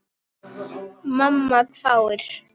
Mamma hváir.